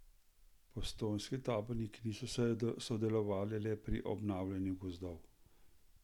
Postojnski taborniki niso sodelovali le pri obnavljanju gozdov.